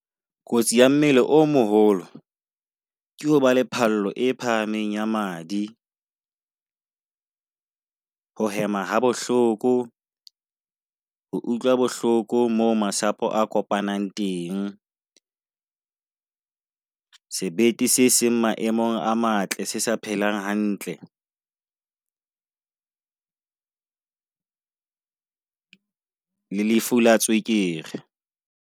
Kotsi ya mmele o moholo ke hoba le phallo e phahameng ya madi. Ho hema ha bohloko, ho utlwa bohloko mo masapo a kopanang teng, sebete se seng maemong a matle, se sa phelang hantle. Le lefu la tswekere.